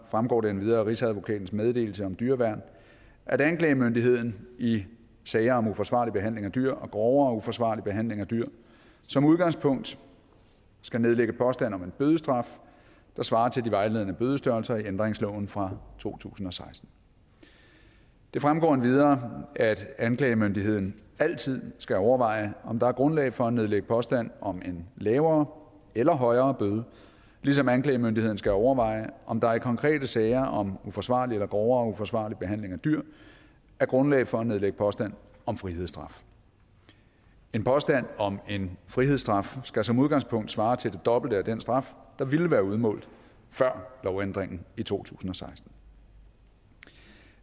fremgår det endvidere af rigsadvokatens meddelelse om dyreværn at anklagemyndigheden i sager om uforsvarlig behandling af dyr og grovere uforsvarlig behandling af dyr som udgangspunkt skal nedlægge påstand om en bødestraf der svarer til de vejledende bødestørrelser i ændringsloven fra to tusind og seksten det fremgår endvidere at anklagemyndigheden altid skal overveje om der er grundlag for at nedlægge påstand om en lavere eller højere bøde ligesom anklagemyndigheden skal overveje om der i konkrete sager om uforsvarlig behandling eller grovere uforsvarlig behandling af dyr er grundlag for at nedlægge påstand om frihedsstraf en påstand om en frihedsstraf skal som udgangspunkt svare til det dobbelte af den straf der ville være udmålt før lovændringen i to tusind og seksten